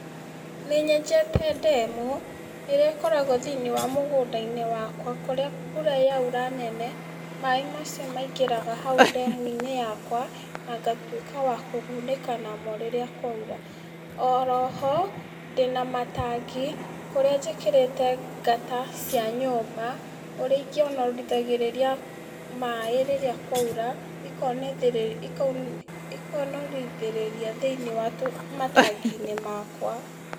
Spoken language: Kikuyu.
Nĩ nyenjete ndemu ĩrĩa ĩkoragwo thĩ-inĩ wa mũgũnda-inĩ wakwa kũrĩa mbura yaura nene, maaĩ macio maingĩraga hau ndemu-inĩ yakwa, na ngatwĩka wa kũgunĩka namo rĩrĩa kwaura. Oro ho, ndĩ na matangi kũrĩa njĩkĩrĩte ngata cia nyũmba, ũrĩa ĩkĩonorithagĩrĩria maaĩ rĩrĩa kwaura, ikonorithĩrĩria thĩ-inĩ wa matangi-inĩ makwa.